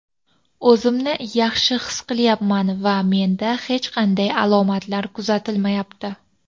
O‘zimni yaxshi his qilyapman va menda hech qanday alomatlar kuzatilmayapti.